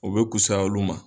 U bɛ kusaya olu ma.